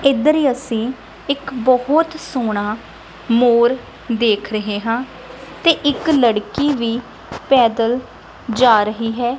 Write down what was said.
ਇਧਰ ਅਸੀਂ ਇੱਕ ਬੋਹੁਤ ਸੋਹਣਾ ਮੋਰ ਦੇਖ ਰਹੇ ਹਾਂ ਤੇ ਇੱਕ ਲੜਕੀ ਵੀ ਪੈਦਲ ਜਾ ਰਹੀ ਹੈ।